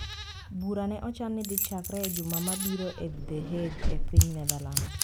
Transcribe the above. Bura ne ochan ni dhi chakre e juma mabiro e The Hague, e piny Netherlands